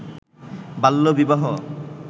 বাল্যবিবাহ